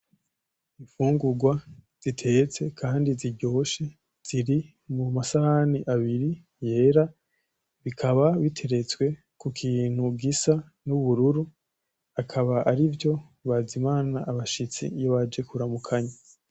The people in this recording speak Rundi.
Imfungurwa zitetse kandi ziryoshe ziri mu masahani abiri yera bikaba biteretswe ku kintu gisa n’ubururu akaba arivyo bazimana abashitsi iyo baje kuramukanya.